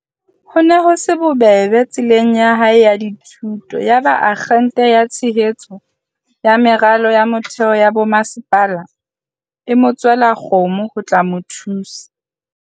Ho ne ho se bobebe tseleng ya hae ya dithuto. Yaba Akgente ya Tshehetso ya Meralo ya Mo-theo ya Bomasepala, MISA, e mo tswela kgomo ho tla mo thusa.